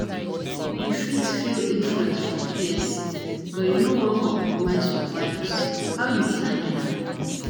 You fit feel influence from peers, but you no want compromise your values, how you dey handle am?